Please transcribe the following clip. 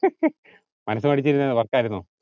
മനസ്സ് മടിച്ചിരുന്നതിനു work ആയിരുന്നോ